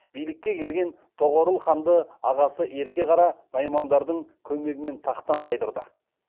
билікке келген тоғорыл ханды ағасы ерке қара наймандардың көмегімен тақтан тайдырды